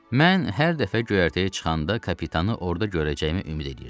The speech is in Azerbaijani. Mən hər dəfə göyərtəyə çıxanda kapitanı orada görəcəyimi ümid eləyirdim.